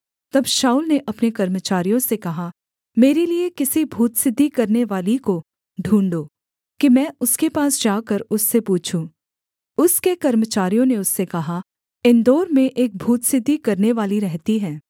तब शाऊल ने अपने कर्मचारियों से कहा मेरे लिये किसी भूतसिद्धि करनेवाली को ढूँढ़ो कि मैं उसके पास जाकर उससे पूछूँ उसके कर्मचारियों ने उससे कहा एनदोर में एक भूतसिद्धि करनेवाली रहती है